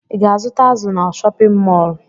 Ị ga-azụta azụ na chọpịn mọọlụ?